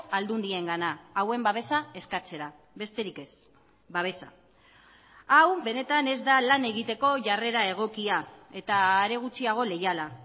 aldundiengana hauen babesa eskatzera besterik ez babesa hau benetan ez da lan egiteko jarrera egokia eta are gutxiago leiala